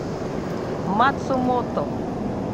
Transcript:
мацумото